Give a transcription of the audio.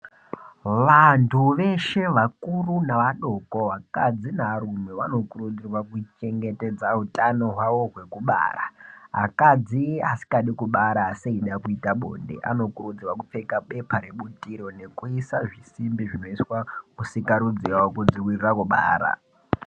Vantu veshe vakuru nevadoko vakadzi nevarume vanokurudzirwa kuchengetedza utano hwavo hwekubara. Akadzi asikadi kubara asi eida kuita bonde anokurudzirwa kupfeka bepa rebutiro nekuisa zvisimbi zvinoiswa kusikarudzi yavo kudzivirira kubara.